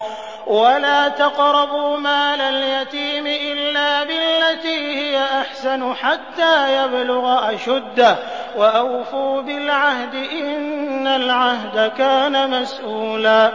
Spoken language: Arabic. وَلَا تَقْرَبُوا مَالَ الْيَتِيمِ إِلَّا بِالَّتِي هِيَ أَحْسَنُ حَتَّىٰ يَبْلُغَ أَشُدَّهُ ۚ وَأَوْفُوا بِالْعَهْدِ ۖ إِنَّ الْعَهْدَ كَانَ مَسْئُولًا